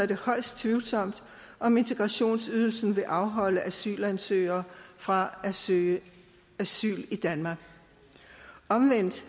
det højst tvivlsomt om integrationsydelsen vil afholde asylansøgere fra at søge asyl i danmark omvendt